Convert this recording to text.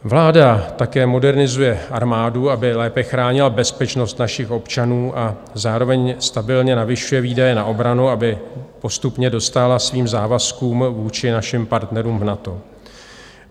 Vláda také modernizuje armádu, aby lépe chránila bezpečnost našich občanů, a zároveň stabilně navyšuje výdaje na obranu, aby postupně dostála svým závazkům vůči našim partnerům v NATO.